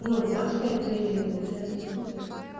ну с мальчиками ты общаться не будешь